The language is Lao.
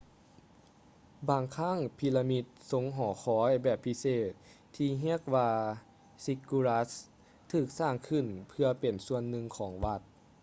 ບາງຄັ້ງປີລະມິດຊົງຫໍຄອຍແບບພິເສດ ທີ່ຮຽກວ່າ ຊິກກູຣັດສ໌ ziggurats ຖືກສ້າງຂຶ້ນເພື່ອເປັນສ່ວນໜຶ່ງຂອງວັດ